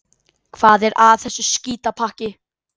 Hvað er að þessu skítapakki?